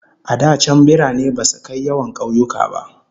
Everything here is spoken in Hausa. A da can birane basu kai yawan kauyuka ba.